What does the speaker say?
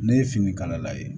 Ne ye fini kana lajɛ